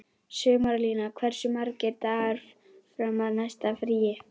Sumarlína, hversu margir dagar fram að næsta fríi?